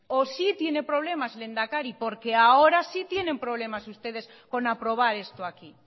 o sí tiene problemas lehendakari porque ahora sí tienen problemas ustedes con aprobar esto aquí